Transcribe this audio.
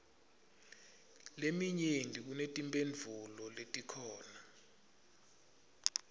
leminyenti kunetimphendvulo letikhona